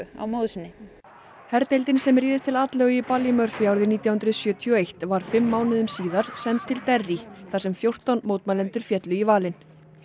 á móður sinni herdeildin sem réðst til atlögu í Ballymurphy árið nítján hundruð sjötíu og eitt var fimm mánuðum síðar send til þar sem fjórtán mótmælendur féllu í valinn